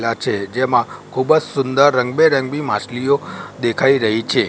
લા છે જેમાં ખુબજ સુંદર રંગબેરંગી માછલીઓ દેખાય રહી છે.